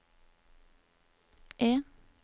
E